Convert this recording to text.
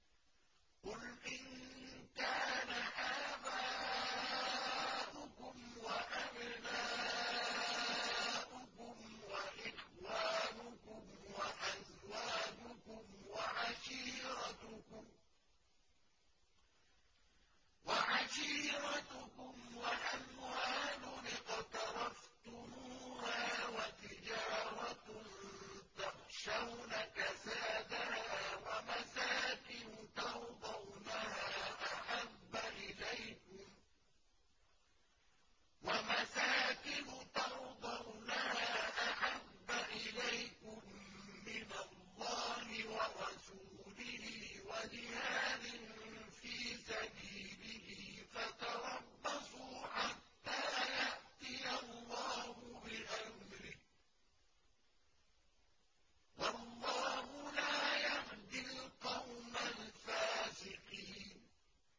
قُلْ إِن كَانَ آبَاؤُكُمْ وَأَبْنَاؤُكُمْ وَإِخْوَانُكُمْ وَأَزْوَاجُكُمْ وَعَشِيرَتُكُمْ وَأَمْوَالٌ اقْتَرَفْتُمُوهَا وَتِجَارَةٌ تَخْشَوْنَ كَسَادَهَا وَمَسَاكِنُ تَرْضَوْنَهَا أَحَبَّ إِلَيْكُم مِّنَ اللَّهِ وَرَسُولِهِ وَجِهَادٍ فِي سَبِيلِهِ فَتَرَبَّصُوا حَتَّىٰ يَأْتِيَ اللَّهُ بِأَمْرِهِ ۗ وَاللَّهُ لَا يَهْدِي الْقَوْمَ الْفَاسِقِينَ